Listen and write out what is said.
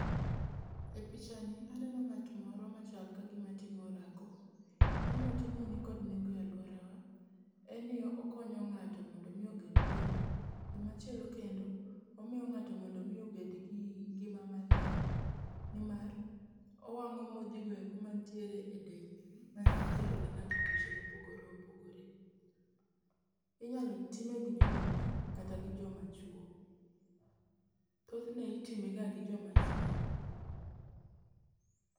E pichani aneno ng'at moro machal ka gima otimo orako. Gimomiyo tijni nikod nengo e luorawa, en ni okonyo ng'ato mondo mi oger dende. Gimachielo kendo, omiyo ng'ato mondo mi obed gi ngima maler nimar, owang'o modhigo eko mantiere e del manyalo kelo ne ng'ato tuoche mopogore opogore. Inyalo time gi joma mon kata gi joma chuo. Thothne itimega gi joma chuo.